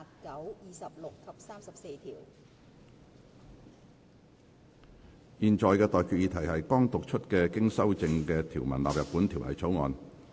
我現在向各位提出的待決議題是：剛讀出經修正的條文納入本條例草案。